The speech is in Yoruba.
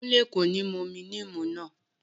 Kúnlé kò ní mú omi níìmù náà